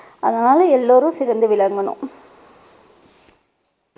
அதனால எல்லோரும் சிறந்து விளங்கணும்.